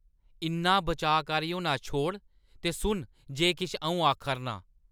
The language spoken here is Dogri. इन्ना बचाऽकारी होना छोड़ ते सुन जे किश अ‘ऊं आखा‘रनां ।